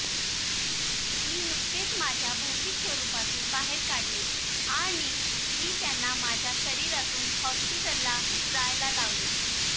मी नुकतेच माझ्या भौतिक स्वरूपातून बाहेर काढले आणि मी त्यांना माझ्या शरीरातून हॉस्पिटलला जायला लावले